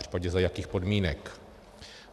Případně za jakých podmínek?